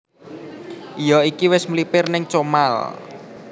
Iyo iki wis mlipir ning Comal